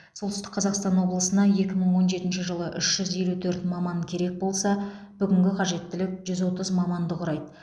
солтүстік қазақстан облысына екі мың он жетінші жылы үш жүз елу төрт маман керек болса бүгінгі қажеттілік жүз отыз маманды құрайды